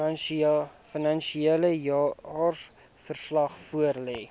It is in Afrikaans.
finansiële jaarverslag voorlê